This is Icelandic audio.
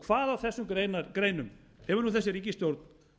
hvað af þessum greinum hefur nú þessi ríkisstjórn